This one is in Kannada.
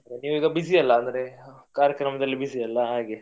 ನೀವ್ ಈಗ busy ಅಲ್ಲಾ ಅಂದ್ರೆ ಕಾರ್ಯಕ್ರಮದಲ್ಲಿ busy ಅಲ್ಲಾ ಹಾಗೆ.